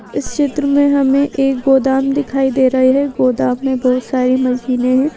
इस चित्र में हमें एक गोदाम दिखाई दे रही है गोदाम में बहुत सारी मशीनें हैं।